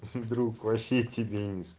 друг вообще тебя не с